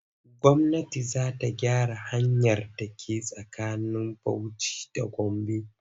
Gwamnati za ta gyaran hanyar da ke tsakanin Bauci da Gombe.